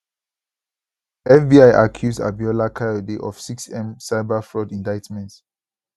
fbi accuse abiola kayode of 6m cyber fraud indictment